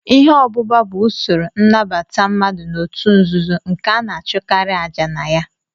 Ihe obúbá bụ usoro innabata mmadụ na-otu nzuzo nke ana achukari aja na ya.